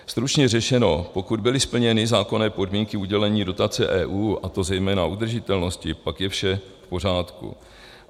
Stručně řečeno, pokud byly splněny zákonné podmínky udělení dotace EU, a to zejména udržitelnosti, pak je vše v pořádku.